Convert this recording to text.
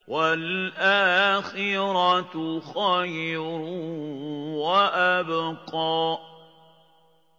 وَالْآخِرَةُ خَيْرٌ وَأَبْقَىٰ